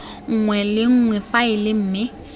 nngwe le nngwe faele mme